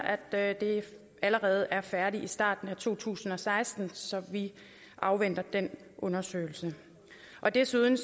at den allerede er færdig i starten af to tusind og seksten så vi afventer den undersøgelse desuden